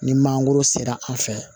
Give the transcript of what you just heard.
Ni mangoro sera an fɛ